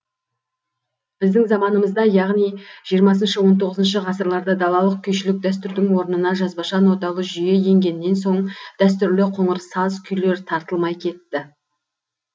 біздің заманымызда яғни жиырмасыншы он тоғызыншы ғасырларда далалық күйшілік дәстүрдің орнына жазбаша ноталы жүйе енгеннен соң дәстүрлі қоңыр саз күйлер тартылмай кетті